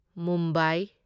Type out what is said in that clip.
Mumbai